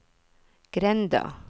grenda